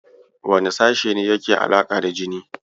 Wane sashe ne yake da alaƙa da jini?